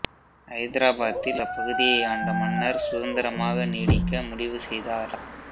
ஐதராபாத்தில் அப்பகுதியை ஆண்ட மன்னர் சுதந்திரமாக நீடிக்க முடிவு செய்தார்